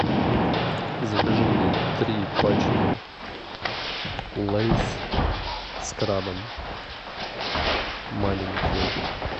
закажи мне три пачки лэйс с крабом маленькие